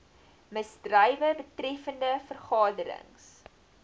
misdrywe betreffende vergaderings